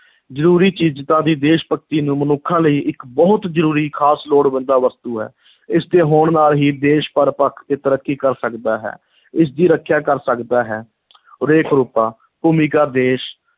ਜ਼ਰੂਰੀ ਚੀਜ਼ਾਂ ਵੀ ਦੇਸ਼-ਭਗਤੀ ਨੂੰ ਮਨੁੱਖਾਂ ਲਈ ਇੱਕ ਬਹੁਤ ਜ਼ਰੂਰੀ ਖ਼ਾਸ ਲੋੜਵੰਦਾ ਵਸਤੂ ਹੈ, ਇਸ ਦੇ ਹੋਣ ਨਾਲ ਹੀ ਦੇਸ਼ ਹਰ ਪੱਖ ਤੇ ਤਰੱਕੀ ਕਰ ਸਕਦਾ ਹੈ ਇਸ ਦੀ ਰੱਖਿਆ ਕਰ ਸਕਦਾ ਹੈ ਰੇਖ-ਰੂਪਾ, ਭੂਮਿਕਾ ਦੇਸ਼